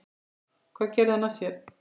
Hvað gerði hann af sér?